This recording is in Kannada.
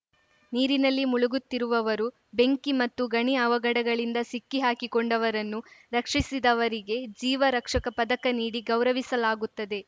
ನೀರಿನಲ್ಲಿ ಮುಳುಗುತ್ತಿರುವವರು ಬೆಂಕಿ ಮತ್ತು ಗಣಿ ಅವಘಡಗಳಿಂದ ಸಿಕ್ಕಿಹಾಕಿಕೊಂಡವರನ್ನು ರಕ್ಷಿಸಿದವರಿಗೆ ಜೀವ ರಕ್ಷಕ ಪದಕ ನೀಡಿ ಗೌರವಿಸಲಾಗುತ್ತದೆ